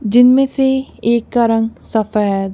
जिनमें से एक का रंग सफेद--